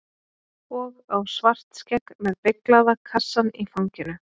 Og á Svartskegg með beyglaða kassann í fanginu.